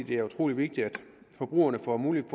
det er utrolig vigtigt at forbrugerne får mulighed